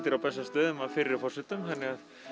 á Bessastöðum af fyrri forsetum þannig að